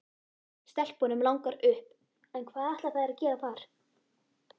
Stelpunum langar upp en hvað ætla þær að gera þar?